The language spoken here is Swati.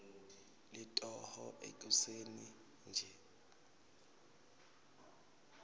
litoho ekuseni nje